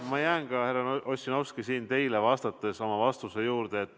Ma jään ka, härra Ossinovski, teile vastates oma vastuse juurde.